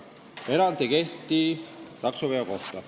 Erand ei kehti taksoveo kohta.